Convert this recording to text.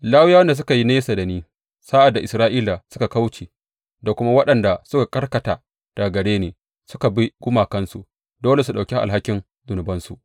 Lawiyawan da suka yi nesa da ni sa’ad da Isra’ila suka kauce da kuma waɗanda suka karkata daga gare ni suka bi gumakansu, dole su ɗauki alhakin zunubinsu.